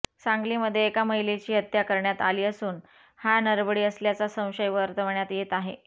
सांगलीमध्ये एका महिलेची हत्या करण्यात आली असून हा नरबळी असल्याचा संशय वर्तवण्यात येत आहे